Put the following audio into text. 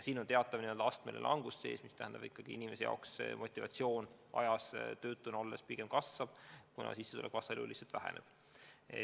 Siin on teatav astmeline langus sees ja see tähendab ikkagi seda, et töötu inimese motivatsioon tööd leida ajas kasvab, kuna sissetulek lihtsalt väheneb.